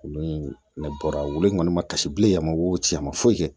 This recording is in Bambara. Wulu in ne bɔra in kɔni ma kasi bilen a ma o ci a ma foyi kɛ